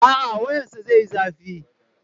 A'a, wuyansa zai yi zafi.